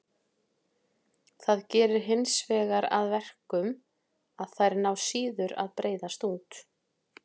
Það gerir hinsvegar að verkum að þær ná síður að breiðast út.